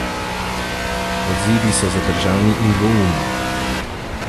Odzivi so zadržani in dvoumni.